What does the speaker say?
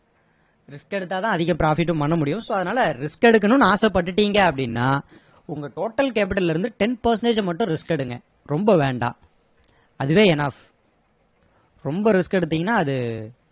risk எடுத்தா தான் அதிக profit டும் பண்ண முடியும் so அதனால risk எடுக்கணும்னு ஆசைப்பட்டுட்டீங்க அப்படின்னா உங்க total capital ல இருந்து ten percentage மட்டும் risk எடுங்க ரொம்ப வேண்டாம் அதுவே enough ரொம்ப risk எடுத்தீங்கன்னா அது